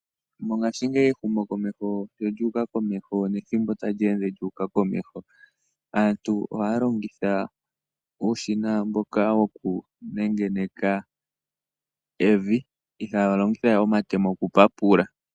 Mongashingeyi ehumokomeho sho lya uka komeho nethimbo otali ende lya uka komeho. Aantu ohaya longitha uushina mboka wo ku nengeneka evi, ihaya longitha we omatemo okupapula.